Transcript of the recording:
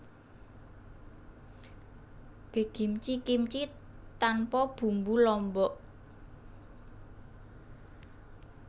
Baekgimchi kimchi tanpa bumbu lombok